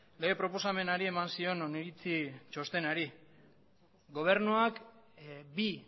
lege proposamenari eman zion non iritzi txostenari gobernuak bi